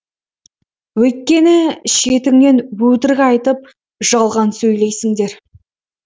өйткені шетіңнен өтірік айтып жалған сөйлейсіңдер